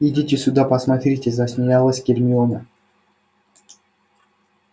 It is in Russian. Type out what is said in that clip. идите сюда посмотрите засмеялась гермиона